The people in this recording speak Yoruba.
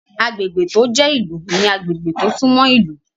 Agbègbè tó jẹ́ ìlú ní agbègbè tó sún mọ́ ìlú